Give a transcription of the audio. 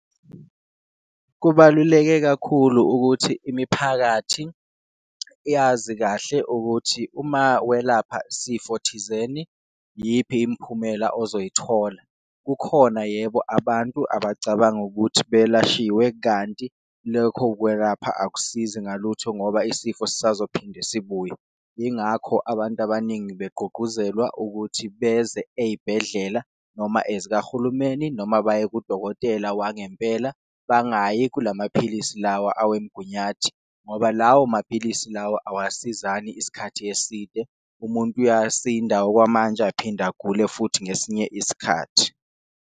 Kubaluleke kakhulu ukuthi imiphakathi yazi kahle ukuthi uma welapha sifo thizeni iyiphi imiphumela ozoyithola, kukhona yebo abantu abacabanga ukuthi belashiwe kanti lokho kwelapha akusizi ngalutho ngoba isifo sisazophinde sibuye. Ingakho abantu abaningi begqugquzelwa ukuthi beze eyibhedlela noma zikahulumeni noma baye kudokotela wangempela, bangayi kula maphilisi lawa awemgunyathi. Ngoba lawo maphilisi lawa awasizani isikhathi eside, umuntu uyasinda okwamanje aphinde agule futhi ngesinye isikhathi.